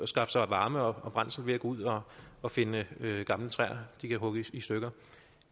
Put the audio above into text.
skaffe sig varme og brændsel ved at gå ud og og finde gamle træer de kan hugge i stykker